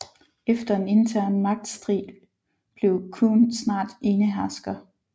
Efter en intern magtstrid blev Chun snart enehersker